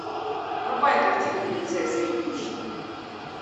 врубай картину принцесса и нищий